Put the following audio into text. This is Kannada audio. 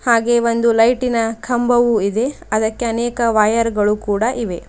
ಹಾಗೇ ಒಂದು ಲೈಟಿನ ಕಂಬವೂ ಇದೆ ಅದಕ್ಕೆ ಅನೇಕ ವೈರ್ ಗಳು ಕೂಡ ಇವೆ.